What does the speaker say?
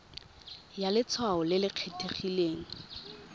ya letshwao le le kgethegileng